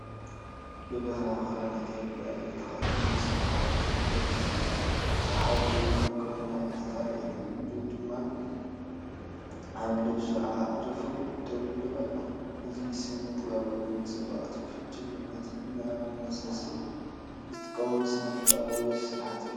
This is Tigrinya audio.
ብባህላዊ ክዳን ኢትዮጵያ ዝተኸድነ ሰብ ሓወልቲ ዝገልጽ እዩ። ብሓደ ኢዱ መቆምያ ፡ እታ ካልአይቲ ኢዱ ድማ ኣብ ልብሱ ኣዕሪፋ ደው ኢሉ ኣሎ። እዚ ስነ-ጥበባዊ ንጽባቐ ትውፊትን ጅግንነትን ንምስኣል ዝጥቀመሉ ስነ-ጥበባዊ ስርሓት እዩ።